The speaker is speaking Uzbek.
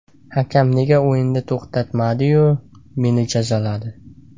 Hakam nega o‘yinni to‘xtatmadi-yu, meni jazoladi?